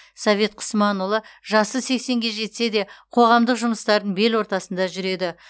совет құсманұлы жасы сексенге жетсе де қоғамдық жұмыстардың бел ортасында жүреді